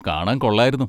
കാണാൻ കൊള്ളായിരുന്നു.